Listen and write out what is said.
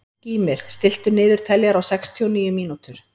Gýmir, stilltu niðurteljara á sextíu og níu mínútur.